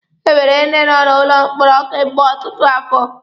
E nwere ndi nọ n'ụlọ mkpọrọ kemgbe ọtụtụ afọ.